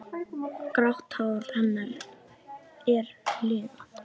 Grátt hár hennar er liðað.